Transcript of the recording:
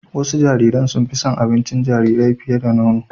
Wasu jariran sun fi son abincin jarirai fiye da nono